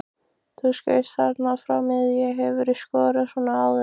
Þú skaust þarna frá miðju, hefurðu skorað svona áður?